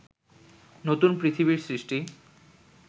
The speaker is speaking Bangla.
নতুন পৃথিবীর সৃষ্টি